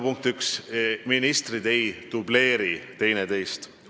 Punkt üks: ministrid ei dubleeri teineteist.